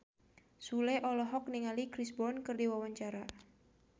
Sule olohok ningali Chris Brown keur diwawancara